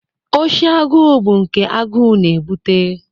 Oshi agụụ bụ nke agụụ na-ebute.